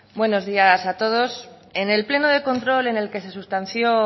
buenos días a todos en el pleno de control en el que se sustanció